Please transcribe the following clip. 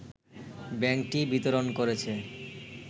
ব্যাংকটি বিতরণ করেছে